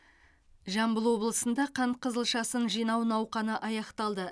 жамбыл облысында қант қызылшасын жинау науқаны аяқталды